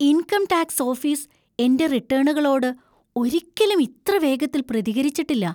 Income tax office എന്‍റെ റിട്ടേണുകളോട് ഒരിക്കലും ഇത്ര വേഗത്തിൽ പ്രതികരിച്ചിട്ടില്ല.